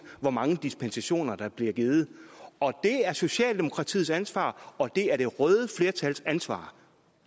hvor mange dispensationer der bliver givet det er socialdemokratiets ansvar og det er det røde flertals ansvar